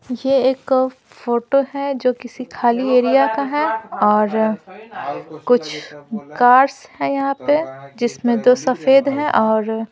ये एक फोटो है जो किसी खाली एरिया का है और कुछ कार्स हैं यहां पे जिसमें दो सफेद हैं और --